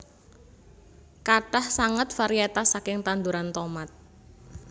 Kathah sanget varietas saking tanduran tomat